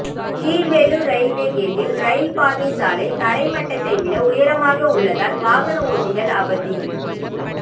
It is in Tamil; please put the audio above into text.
கீழ்வேளூர் ரயில்வே கேட்டில் ரயில் பாதை சாலை தரைமட்டத்தை விட உயரமாக உள்ளதால் வாகன ஓட்டிகள் அவதி